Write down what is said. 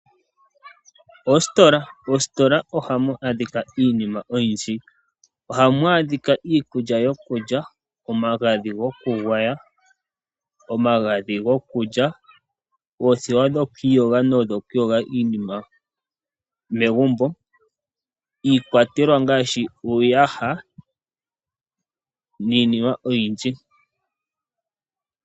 Oositola, ositola ohamu adhika iinima oyindji. Ohamu adhika iikulya yokulya, omagadhi gokugwaya, omagadhi gokulya, oothewa dhokwiiyoga no dhokuyooga iinima megumbo, iikwatelwa ngaashi uuyaha niinima oyindji.